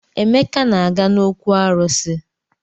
Emeka na-aga n'òkwù arụsị.